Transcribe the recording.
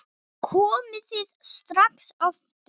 Komið þið strax aftur!